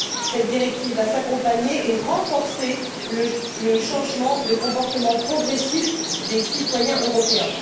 Elle va accompagner et renforcer le changement de comportement progressif des citoyens européens.